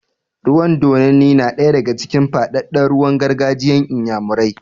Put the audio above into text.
Rawan dodanni na ɗaya daga cikin faɗaɗɗen rawan gargajiyan inyamurai